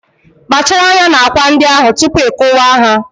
Kpachara anya na akwa ndị ahụ tupu ị kuwa ha